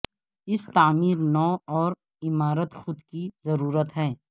اس تعمیر نو اور عمارت خود کی ضرورت ہے